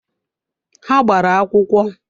Ha gbara akwụkwọ?